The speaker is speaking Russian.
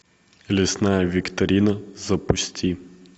лесная викторина запусти